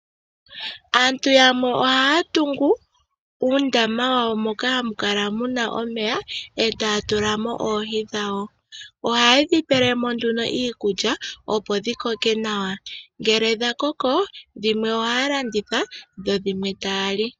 Aantu yamwe ohaya tungu uundama wawo moka hamu kala muna omeya etaya tula mo oohi dhawo. Ohaya tula mo nduno iikulya opo dhi koke nawa. Ngele dha koko, dhimwe ohaya landitha, dhimwe taya li.